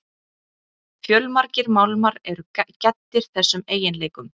fjölmargir málmar eru gæddir þessum eiginleikum